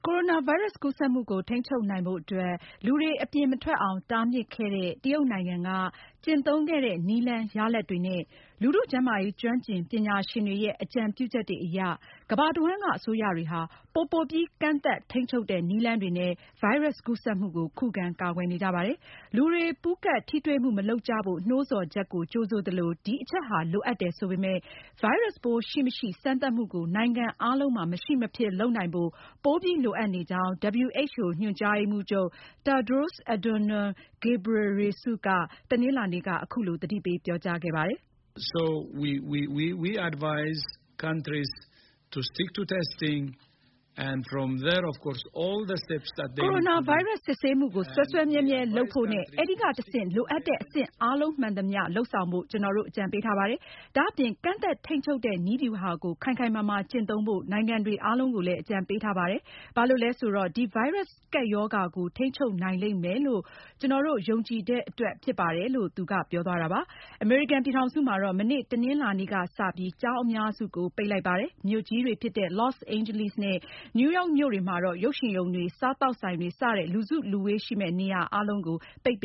ိုရိုနာဗိုင်းရပ်စ် ကူးစက်မှုကို ထိန်းချုပ်နိုင်ဖို့အတွက် လူတွေ အပြင်မထွက်အောင် တားမြစ်ခဲ့တဲ့ တရုတ်နိုင်ငံက ကျင့်သုံးခဲ့တဲ့ နည်းလမ်းရလဒ်တွေနဲ့ လူထုကျန်းမာရေး ကျွမ်းကျင်ပညာရှင်တွေရဲ့ အကြံပြုချက်တွေအရ ကမ္ဘာတဝှမ်းက အစိုးရတွေဟာ ပိုပိုပြီး ကန့်သတ်ထိန်းချုပ်တဲ့ နည်းလမ်းတွေနဲ့ ဗိုင်းရပ်ကူးစက်မှုကို ခုခံကာကွယ်နေကြပါတယ်။ လူတွေ ပူးကပ်ထိတွေ့မှု မလုပ်ကြဖို့ နှိုးဆော်ချက်ကို ကြိုဆိုသလို ဒီအချက်ဟာ လိုအပ်တယ်ဆိုပေမဲ့ ဗိုင်းရပ်စ်ပိုးရှိ၊ မရှိ စမ်းသပ်မှုကို နိုင်ငံအားလုံးမှာ မရှိမဖြစ် လုပ်နိုင်ဖို့ ပိုပြီးလိုအပ်နေကြောင်း WHO ညွန်ကြားရေးမှူးချုပ် Tedros Adhanom Ghebreyesus က တနင်္လာနေ့က သတိပေးပြောကြားခဲ့ပါတယ်။ 🔸Coronavirus ကာကွယ်ဆေး အမေရိကန်မှာ လူနဲ့ စတင်စမ်းသပ်တဲ့အကြောင်းကိုလည်း ဖတ်ရှုနိုင်ပါပြီ။ “ကိုရိုနာဗိုင်းရပ်စ် စစ်ဆေးမှုကို စွဲစွဲမြဲမြဲလုပ်ဖို့နဲ့ အဲဒီကနေတဆင့် လိုအပ်တဲ့အဆင့်အားလုံး မှန်သမျှ လုပ်ဆောင်ဖို့ ကျနော်တို့ အကြံပေးထားပါတယ်။ ဒါအပြင် ကန့်သတ်ထိန်းချုပ်တဲ့ နည်းဗျုဟာ ကို ခိုင်ခိုင်မာမာကျင့်သုံးဖို့ နိုင်ငံတွေကို အကြံပေးထားပါတယ်။ ဘာလို့လဲဆိုတော့ ဒီ ဗိုင်းရပ်စ် ကပ်ရောဂါ ကို ထိန်းချုပ်နိုင်လိမ့်မယ်လို့ ကျနော်တို့ ယုံကြည်တဲ့အတွက်ဖြစ်ပါတယ်။” အမေရိကန်ပြည်ထောင်စုမှာတော့ မနေ့ တနင်္လာနေ့ကစပြီး ကျောင်းအများစုကို ပိတ်လိုက်ပါတယ်။ မြို့ကြီးတွေဖြစ်တဲ့ လော့စ်အိန်ဂျလိနဲ့ နယူးမြို့တွေမှာတော့ ရုပ်ရှင်ရုံတွေ၊ စားသောက်ဆိုင်တွေ စတဲ့ လူစုလူဝေးရှိမယ့် နေရာအားလုံးကို ပိတ်ပ